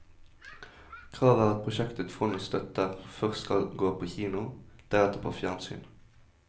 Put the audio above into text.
Kravet er at prosjekter fondet støtter, først skal gå på kino, deretter på fjernsyn.